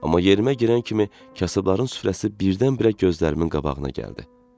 Amma yerimə girən kimi kasıbların süfrəsi birdən-birə gözlərimin qabağına gəldi.